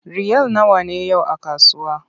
Riyal nawa ne yau a kasuwa?